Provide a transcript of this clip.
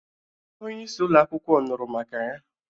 Onyeisi ụlo akwụkwọ nụrụ maka ya,